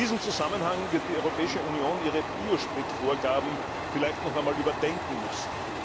In diesem Zusammenhang wird die Europäische Union ihre Biospritvorgaben vielleicht noch einmal überdenken müssen.